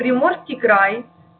приморский край